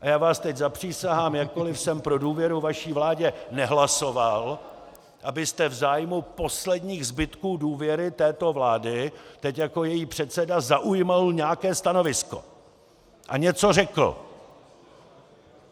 A já vás teď zapřísahám, jakkoliv jsem pro důvěru vaší vládě nehlasoval, abyste v zájmu posledních zbytků důvěry této vlády teď jako její předseda zaujal nějaké stanovisko a něco řekl!